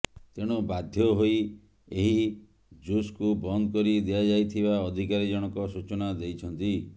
ତେଣୁ ବାଧ୍ୟହୋଇ ଏହି ଜୁସ୍କୁ ବନ୍ଦ କରି ଦିଆଯାଇଥିବା ଅଧିକାରୀ ଜଣକ ସୂଚନା ଦେଇଛନ୍ତି